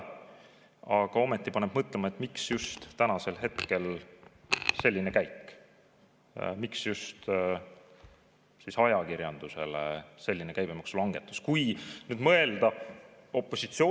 Aga ometi paneb mõtlema, miks just praegu selline käik tehti ja miks just ajakirjandusele selline käibemaksulangetus võimaldati?